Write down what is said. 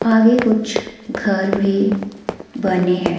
आगे कुछ घर भी बने हैं।